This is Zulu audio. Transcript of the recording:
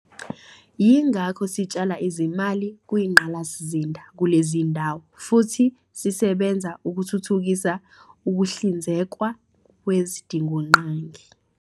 Yingakho sitshala izimali kwingqalasizinda kulezi zindawo futhi sisebenza ukuthuthukisa ukuhlinzekwa kwezidingongqangi.